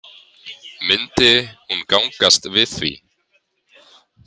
Myndi hún gangast við því?